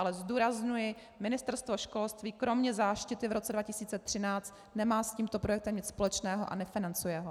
Ale zdůrazňuji, Ministerstvo školství kromě záštity v roce 2013 nemá s tímto projektem nic společného a nefinancuje ho.